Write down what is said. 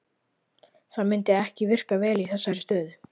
Það myndi ekki virka vel í þessari stöðu.